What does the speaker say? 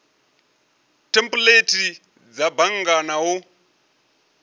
thempuleithi dza bannga na u